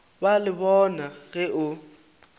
ba le bona ge o